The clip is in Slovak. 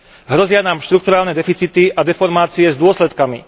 Hrozia nám štrukturálne deficity a deformácie s dôsledkami.